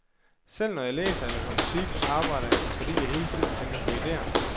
Selv når jeg læser eller hører musik, arbejder jeg, fordi jeg hele tiden tænker på ideer.